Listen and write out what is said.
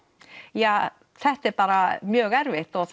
ja þetta er bara mjög erfitt og